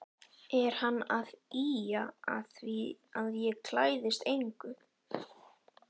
Er hann að ýja að því að ég klæðist engu?